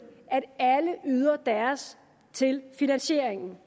at alle yder deres til finansieringen